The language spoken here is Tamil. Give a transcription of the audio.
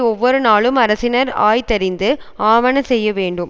ஒவ்வொரு நாளும் அரசினர் ஆய்தறிந்து ஆவன செய்ய வேண்டும்